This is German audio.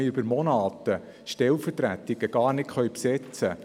Heute können wir Stellvertretungen monatelang gar nicht besetzen.